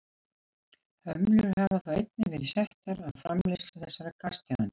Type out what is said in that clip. hömlur hafa þó einnig verið settar á framleiðslu þessara gastegunda